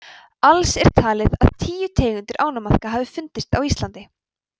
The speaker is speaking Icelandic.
alls er talið að tíu tegundir ánamaðka hafi fundist á íslandi